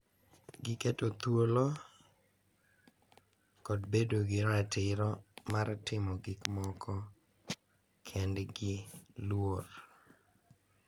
Giketo thuolo, kod bedo gi ratiro mar timo gik moko kendgi luor,